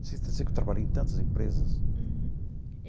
Sei que eu trabalhei em tantas empresas. Uhum.